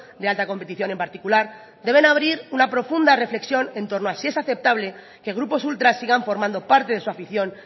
de alta competición en particular deben abrir una profunda reflexión en torno a si es aceptable que grupos ultras sigan formando parte de su afición